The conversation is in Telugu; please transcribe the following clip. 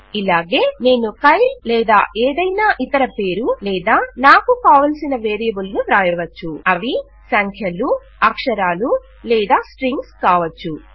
ఇలాగే నేను కైల్ లేదా ఏదైనా ఇతర పేరు లేదా నాకు కావలిసిన వేరియబుల్ ను వ్ర్రాయవచ్చు